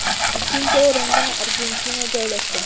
Ikkinchi o‘rinda Argentina joylashgan.